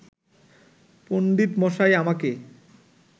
পণ্ডিতমশাই আমাকে